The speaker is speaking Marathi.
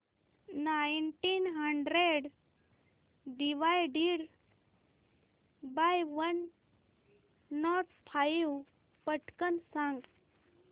nineteen hundred divided by one not five पटकन सांग